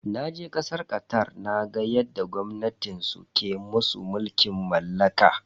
Naje kasar Qatar naga yadda gwamnatin su ke musu mulkin mallaka.